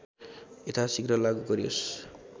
यथासिघ्र लागु गरियोस्